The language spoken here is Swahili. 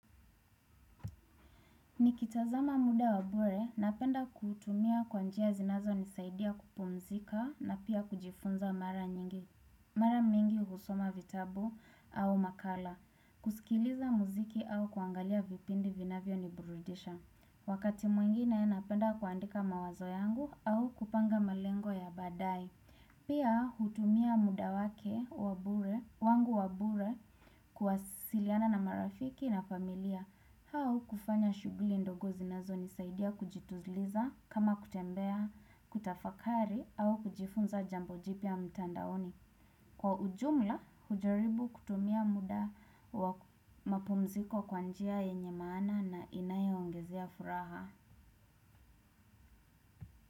Nikitazama muda wa bure, napenda kuutumia kwa njia zinazonisaidia kupumzika na pia kujifunza mara nyingi mara mingi husoma vitabu au makala, kusikiliza muziki au kuangalia vipindi vinavyo niburudisha. Wakati mwingine napenda kuandika mawazo yangu au kupanga malengo ya badaaye. Pia hutumia muda wake wa bure, wangu wa bure kuwasiliana na marafiki na familia au kufanya shughuli ndogo zinazo nisaidia kujituliza kama kutembea, kutafakari au kujifunza jambo jipya mtandaoni. Kwa ujumla hujaribu kutumia muda wa mapumziko kwa njia yenye maana na inayoongezea furaha.